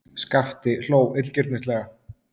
Skapti hló illgirnislega.